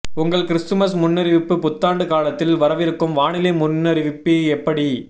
உங்கள் கிறிஸ்துமஸ் முன்னறிவிப்பு புத்தாண்டு காலத்தில் வரவிருக்கும் வானிலை முன்னறிவிப்பு எப்படி